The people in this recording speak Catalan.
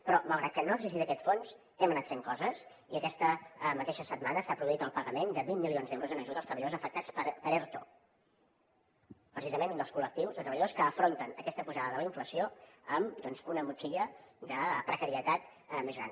però malgrat que no ha existit aquest fons hem anat fent coses i aquesta mateixa setmana s’ha produït el pagament de vint milions d’euros en ajuda als treballadors afectats per erto precisament un dels col·lectius de treballadors que afronten aquesta pujada de la inflació amb una motxilla de precarietat més gran